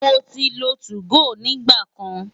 Mo ti lo 2go rí nígbà kan.